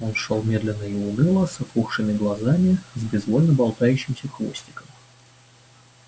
он шёл медленно и уныло с опухшими глазами с безвольно болтающимся хвостиком